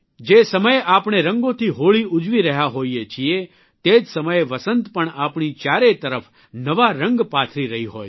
જે સમયે આપણે રંગોથી હોળી ઉજવી રહ્યા હોઇએ છીએ તે જ સમયે વસંત પણ આપણી ચારેય તરફ નવા રંગ પાથરી રહી હોય છે